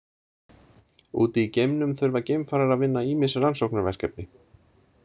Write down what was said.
Úti í geimnum þurfa geimfarar að vinna ýmis rannsóknarverkefni.